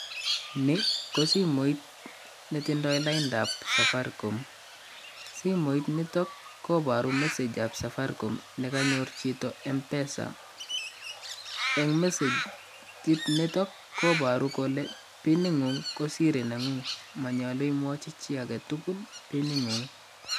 Ni kosimoit netindoi laindaab Safaricom, simoit nito kobari message ab Safaricom nekanyor chito M-pesa, eng messegit nito koboru kole piningu'ng ko siri nengung manyolu imwochi chi agetugul piningu'ng.